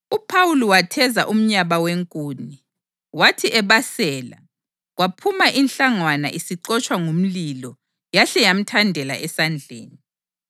UPhawuli watheza umnyaba wenkuni, wathi ebasela kwaphuma inhlangwana isixotshwa ngumlilo yahle yamthandela esandleni.